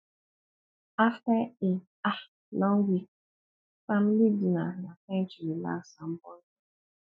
after a um long week family dinner na time to relax and bond well